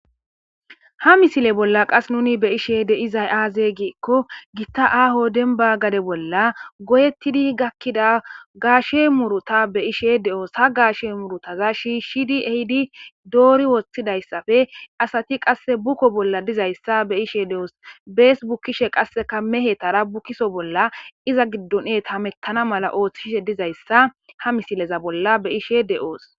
Ha misile bolla qas nuni be ishe de izay aaze giikko gitta aaho denba gade bolla goyettidi gakkida gaashe muruta be ishe de'oos ha gaashe murutaza shi shidi ehidi doori woththidayssafe asati qasse bukko bolla dizayssa be ishe de'os bees bukkishe qasseka mehe tara bukiso bolla iza giddon et hamettana mala ooththishe dizayssa ha misileza bolla be ishe deoos.